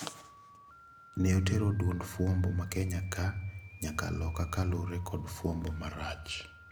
Ne otero duond fwambo ma Kenya ka nyaka loka kalure kod fwambo marach.